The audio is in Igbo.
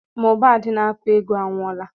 Mohbad n'akụ egwu anwụola